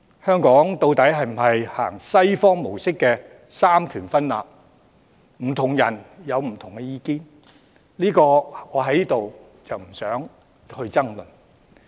香港究竟是否奉行西方模式的三權分立，不同人有不同意見，我不想在此爭論。